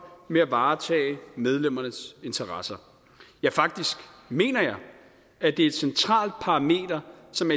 med at varetage medlemmernes interesser ja faktisk mener jeg at det er et centralt parameter som